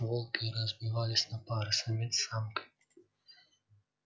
волки разбивались на пары самец с самкой